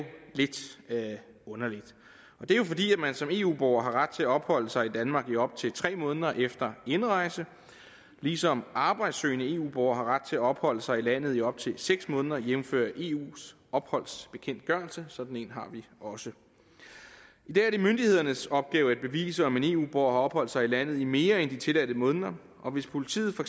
lidt underligt det er jo fordi man som eu borger har ret til at opholde sig i danmark i op til tre måneder efter indrejse ligesom arbejdssøgende eu borgere har ret til at opholde sig i landet i op til seks måneder jævnfør eus opholdsbekendtgørelse sådan en har vi også i dag er det myndighedernes opgave at bevise om en eu borger har opholdt sig i landet i mere end de tilladte måneder og hvis politiet for